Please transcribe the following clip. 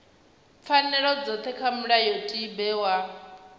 pfanelo dzothe kha mulayotibe wa